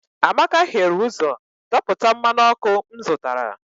amaka hiere ụzọ dọpụta mmanụ ọkụ m zụtara